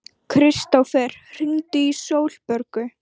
Kristófer, hringdu í Sólborgu.